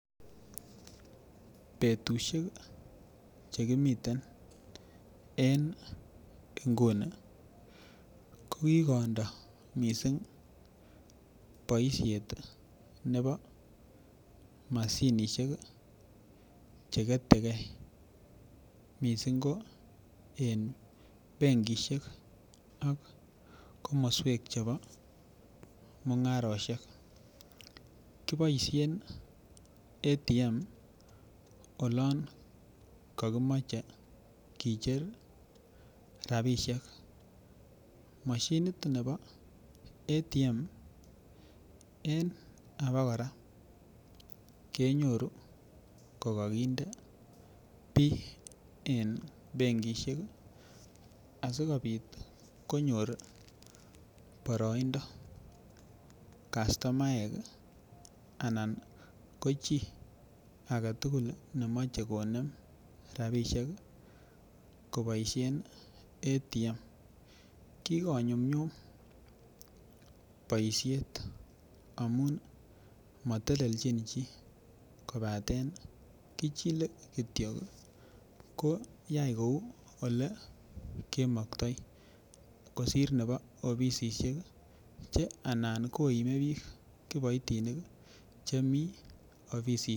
Betusiek chekimiten en nguni ko kikondoo missing boisiet nebo moshinisiek cheketegee missing ko en benkisiek ak komoswek chebo mung'arosiek kiboisien Automated Teller Machine olon kokimuche kicher rapisiek, moshinit nebo Automated Teller Machine en abokora kenyorunkokokinde bii en benkisiek asikobit konyor boroindo kastomaek anan ko chii aketugul nemoche konem rapisiek koboisien Automated Teller Machine kokonyumnyum boisiet amun motelenjin chii kobaten kichile kityo koyai kou elekekoktoi kosir nebi ofisisiek ih che anan koime biik kiboitinik chemii ofisisiek